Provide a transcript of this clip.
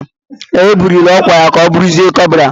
Ee, e buliri ọkwa ya ka ọ bụrụzie kọpral.